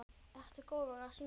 Ertu góður í að syngja?